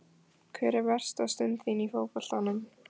Hver er versta stund þín í fótboltanum?